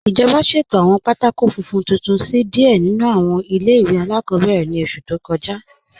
Ijọba ṣẹ̀tọ̀rẹ̀ awọn pátákò fúnfún tuntun sí díẹ̀ nínu awọn ilẹ̀-iwe aláàkọ̀bẹ̀rẹ̀ ni ọṣù tó kọja.